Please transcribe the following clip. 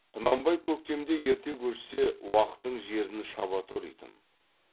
құнанбай көктемде ерте көшсе уақтың жерін шаба торитын